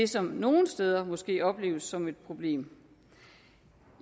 som nogle steder måske opleves som et problem